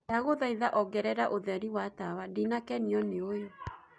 ndagũthaĩtha ongereraũtherĩ wa tawa ndinakenio ni uyu